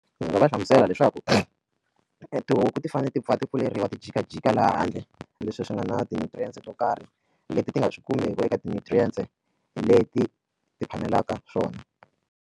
Ndzi nga va hlamusela leswaku tihuku ti fanele ti pfa ti pfuleriwa ti jikajika laha handle leswi swi nga na ti-nutrients to karhi leti ti nga swi kumeki eka ti-nutrients leti ti phamelaka swona.